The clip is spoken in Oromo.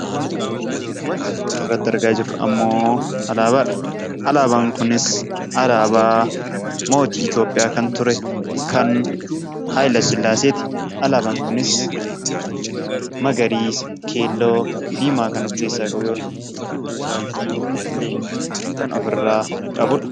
Wanti suuraa kana irratti argaa jirru ammoo alaabaa dha. Alaabaan kunis alaabaa mootii Itoophiyaa kan ture, kan Haayilasillaasee ti. Alaabaan kunis magariisa, keelloo, diimaa kan of keessaa qabu yoo ta'u, gidduu isaatii leenca kan ofirraa qabu dha.